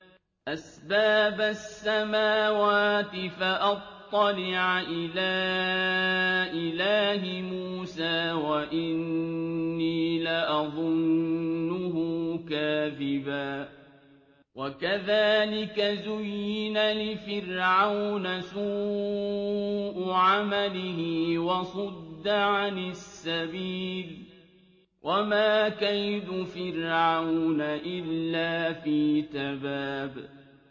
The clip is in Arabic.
أَسْبَابَ السَّمَاوَاتِ فَأَطَّلِعَ إِلَىٰ إِلَٰهِ مُوسَىٰ وَإِنِّي لَأَظُنُّهُ كَاذِبًا ۚ وَكَذَٰلِكَ زُيِّنَ لِفِرْعَوْنَ سُوءُ عَمَلِهِ وَصُدَّ عَنِ السَّبِيلِ ۚ وَمَا كَيْدُ فِرْعَوْنَ إِلَّا فِي تَبَابٍ